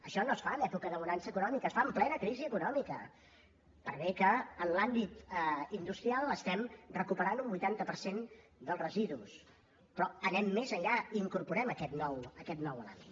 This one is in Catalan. això no es fa en època de bonança econòmica es fa en plena crisi econòmica per bé que en l’àmbit industrial estem recuperant un vuitanta per cent dels residus però anem més enllà hi incorporem aquest nou element